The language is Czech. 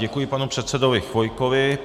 Děkuji panu předsedovi Chvojkovi.